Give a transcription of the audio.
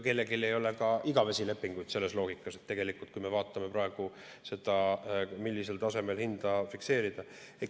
Kellelgi ei ole ka igavesi lepinguid selles loogikas, kui me vaatame praegu seda, millisel tasemel hinda fikseerida.